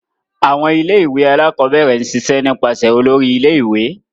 Awọn ilé-ìwé Alakọ̀bẹrẹ n ṣiṣe nipasẹ Òlóri ilé-ìwé